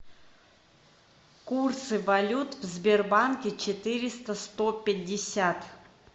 курсы валют в сбербанке четыреста сто пятьдесят